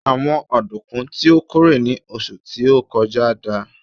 àwọn ọdunkun ti o kórè ni oṣù ti o kọjá dà